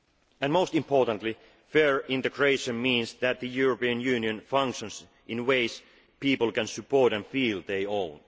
And most importantly, fair integration means that the European Union functions in ways people can support and feel their